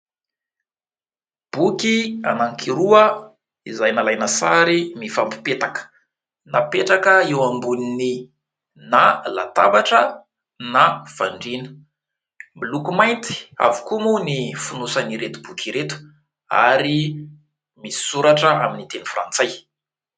Boky anankiroa izay nalaina sary mifampipetaka, napetraka eo ambonin'ny na latabatra na fandriana. Miloko mainty avokoa moa ny fonosan'ireto boky ireto ary misy soratra amin'ny teny frantsay.